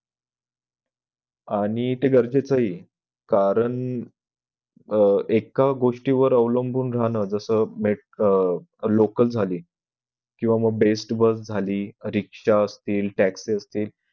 आणि ते गरजेचं हि ये कारण अह एका गोष्टीवर अवलंबुन राहणं जस अह local झाली किंवा best bus झाला रिक्षा असतील taxi असतील